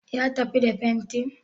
Ya tafi da fentin?